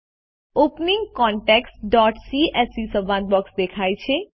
opening contacts CSV સંવાદ box દેખાય છે